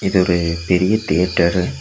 இது ஒரு பெரிய தேட்டரு .